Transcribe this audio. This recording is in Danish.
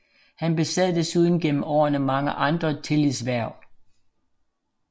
Han besad desuden gennem årene mange andre tillidshverv